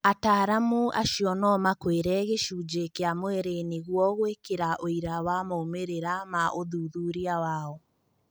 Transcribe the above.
Ataaramu acio no makũire "Gĩcunjĩ" kĩa mwirĩ nĩguo gũĩkĩra ũira wa moimĩrĩra ma ũthuthuria wao.